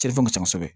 Cɛn ka ca kosɛbɛ